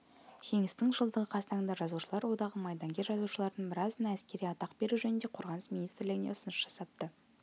жеңістің жылдығы қарсаңында жазушылар одағы майдангер жазушылардың біразына әскери атақ беру жөнінде қорғаныс министрлігіне ұсыныс жасапты